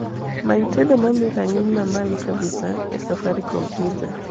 many tedo momi ranginy mamalo kabisa e safaricom pizza